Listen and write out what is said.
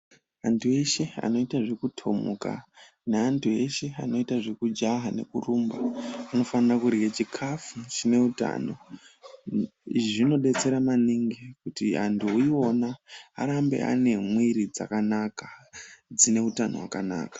Antu eshe anoite zvekuthomuka ,neantu eshe anoita zvekujaha nekurumba, anofanira kurye chikhafu chine utano. Izvi zvinodetsera maningi ,kuti antu iwona, arambe ane mwiiri dzakanaka, dzine utano hwakanaka.